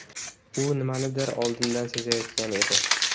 U nimanidir oldindan sezayotgan edi.